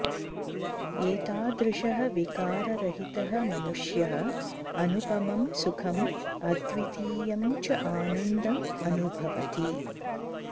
एतादृशः विकाररहितः मनुष्यः अनुपमं सुखम् अद्वितीयं च आनन्दम् अनुभवति